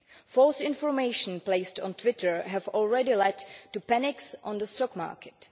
False information placed on Twitter has already led to panics on the stock market.